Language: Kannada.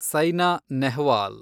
ಸೈನಾ ನೆಹ್ವಾಲ್